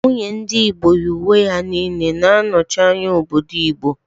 Nwunye ndị Igbo yi uwe ya niile na-anọchi anya obodo Igbo